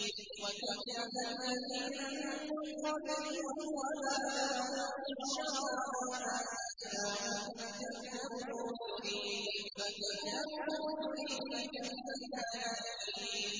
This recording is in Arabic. وَكَذَّبَ الَّذِينَ مِن قَبْلِهِمْ وَمَا بَلَغُوا مِعْشَارَ مَا آتَيْنَاهُمْ فَكَذَّبُوا رُسُلِي ۖ فَكَيْفَ كَانَ نَكِيرِ